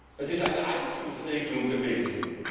Es ist eine Anschlussregelung gewesen.